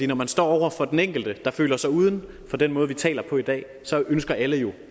når man står over for den enkelte der føler sig uden for den måde vi taler på i dag så ønsker alle jo